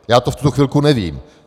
Já to v tuto chvilku nevím.